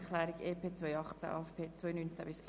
Abstimmung (6.c Altersbereich; Abänderungsantrag